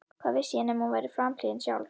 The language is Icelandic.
Hvað vissi ég nema hún væri framliðin sjálf?